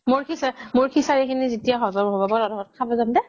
মোৰ খিচাৰি খিনি যেতিয়া হজম হব মই তহতৰ ঘৰত যাম দে